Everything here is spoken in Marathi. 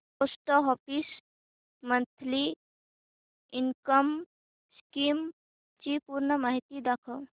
post office monthly income scheme ची पूर्ण माहिती दाखव